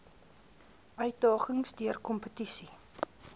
uitdagings deur kompetisie